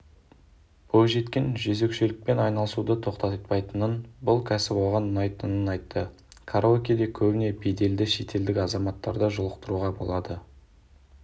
бойжеткен жөзекшелікпен айналысуды тоқтатпайтынын бұл кәсіп оған ұнайтынын айтты караокеде көбіне беделді шетелдік азаматтарды жолықтыруға болады